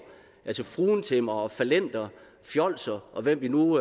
altså fruentimmere fallenter fjolser og hvem vi nu